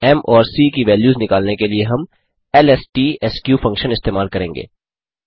फिर म् और सीसी की वैल्यूज़ निकालने के लिए हम एलएसटीएसके फंक्शन इस्तेमाल करेंगे